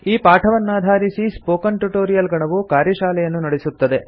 ಈ ಪಾಠವನ್ನಾಧಾರಿಸಿ spoken tutorial ಗಣವು ಕಾರ್ಯಶಾಲೆಯನ್ನು ನಡೆಸುತ್ತದೆ